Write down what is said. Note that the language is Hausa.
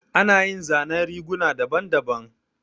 Ana yin zanen riguna daban daban